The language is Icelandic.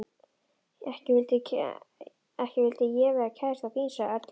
Ekki vildi ég vera kærastan þín sagði Örn hlæjandi.